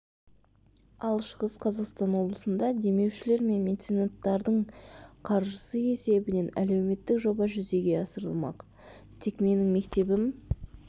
ал шығыс қазақстан облысында демеушілер мен меценаттардың қаржысы есебінен әлеуметтік жоба жүзеге асырылмақ тек менің мектебім